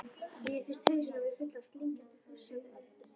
Mér finnst hausinn á mér fullur af slímkenndum frussandi öldum.